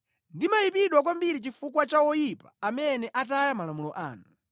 Ndayipidwa kwambiri chifukwa cha oyipa amene ataya malamulo anu.